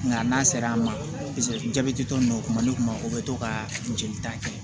Nka n'a sera an ma jabɛti tɔ ninnu o kuma ne kun ma o bɛ to ka jeli ta kɛ